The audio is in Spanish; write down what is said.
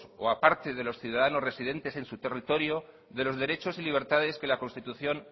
o parte de los ciudadanos residentes en su territorio de los derechos y libertades que la constitución